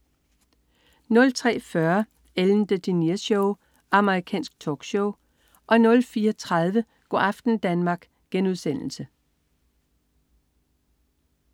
03.40 Ellen DeGeneres Show. Amerikansk talkshow 04.30 Go' aften Danmark*